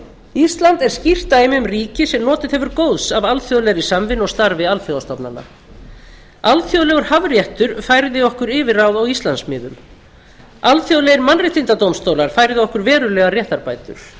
ísland er skýrt dæmi um ríki sem notið hefur góðs af alþjóðlegri samvinnu og starfi alþjóðastofnana alþjóðlegur hafréttur færði okkur yfirráð á íslandsmiðum alþjóðlegir mannréttindadómstólar færðu okkur verulegar réttarbætur